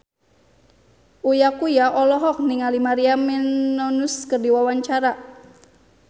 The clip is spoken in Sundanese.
Uya Kuya olohok ningali Maria Menounos keur diwawancara